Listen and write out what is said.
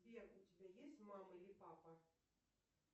сбер у тебя есть мама или папа